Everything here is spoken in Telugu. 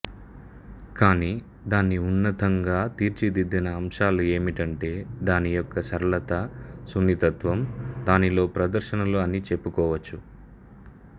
కానీ దాన్ని ఉన్నతంగా తీర్చిదిద్దిన అంశాలు ఏమిటంటే దాని యొక్క సరళత సున్నితత్వం దానిలో ప్రదర్శనలు అని చెప్పుకోవచ్చు